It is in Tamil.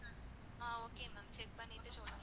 ஆஹ் okay ma'am check பண்ணிட்டு சொல்லுங்க